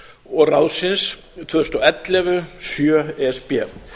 og ráðsins tvö þúsund og ellefu sjö e s b